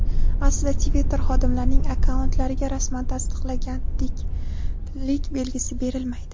Aslida Twitter xodimlarining akkauntlariga rasman tasdiqlanganlik belgisi berilmaydi.